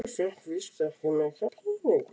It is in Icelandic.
Pabbi fékk víst ekki mikla peninga fyrir bókina sína.